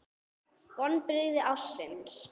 Vonbrigði ársins?